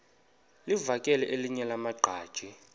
livakele elinye lamaqhaji